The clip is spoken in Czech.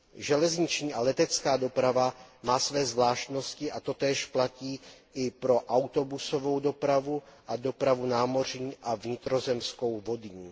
Železniční a letecká doprava má své zvláštnosti a totéž platí i pro autobusovou dopravu a dopravu námořní a vnitrozemskou vodní.